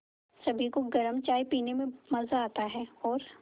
सभी को गरम चाय पीने में मज़ा आता है और